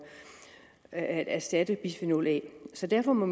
at erstatte bisfenol a så derfor må